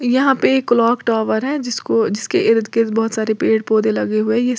यहां पे एक क्लॉक टावर है जिसको जिसके इर्द गिर्द बहुत सारे पेड़ पौधे लगे हुए है ये--